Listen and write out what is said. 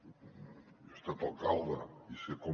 jo he estat alcalde i sé com